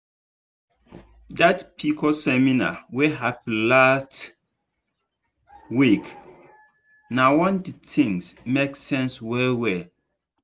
dat pcos seminar wey happen last week na correct one di thing make sense well well.